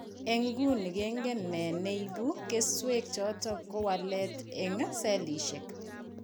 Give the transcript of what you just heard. En nguni kingen nee ne ibu keswek choton ko walet en selishek